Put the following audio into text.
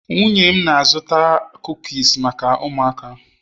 nwunye m na-azụta kukis maka ụmụaka